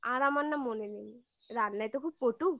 আর আমার না মনে নেই রান্নায় তো খুব পটু